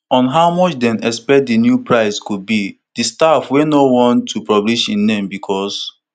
on how much dem expect di new price go be di staff wey no wan to publish im name bicos